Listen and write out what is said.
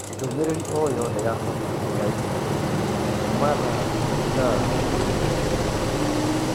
ndũmĩrĩri o yothe ya bata ya i-mīrū kuuma thaa ĩthaa rĩmwe rĩhĩtũkũ